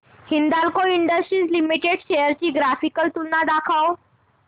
Hindalco industries limited shares ची graphical तुलना दाखव